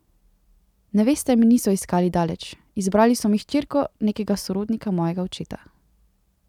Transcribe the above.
Neveste mi niso iskali daleč, izbrali so mi hčerko nekega sorodnika mojega očeta.